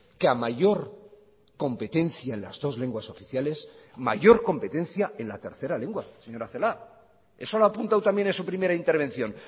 que a mayor competencia en las dos lenguas oficiales mayor competencia en la tercera lengua señora celaá eso lo ha apuntado también en su primera intervención